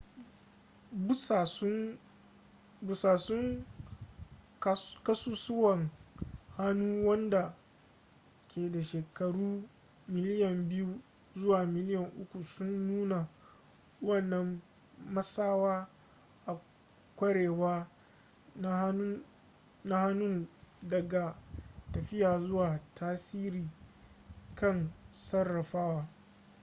busassun kasussuwan hannu wanda ke da shekaru miliyan biyu zuwa miliyan uku sun nunna wannan matsawa a kwarewa na hannun daga tafiya zuwa tasiri kan sarrafawa